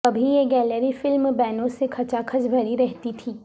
کبھی یہ gallery film بینوں سے کھچا کھچ بھری رہتی تھی